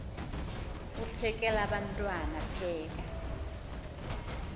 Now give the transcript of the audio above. uphekel abantwana pheka